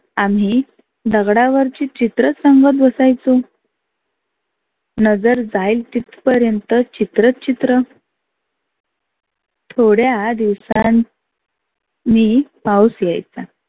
आम्ही दगडावरची चित्रच रंगत बसायचो. नजर जाईल तीथ पर्यंत चित्रच चित्र. थोड्या दिवसां नी पाऊस यायचा.